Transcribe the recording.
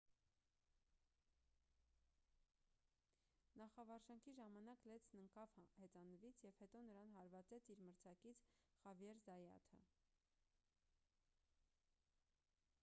նախավարժանքի ժամանակ լենցն ընկավ հեծանվից և հետո նրան հարվածեց իր մրցակից խավիեր զայաթը